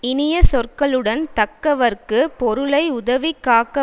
இனியச் சொற்களுடன் தக்கவர்க்குப் பொருளை உதவி காக்க